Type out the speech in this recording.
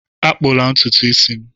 Akpụla ntutu isi m!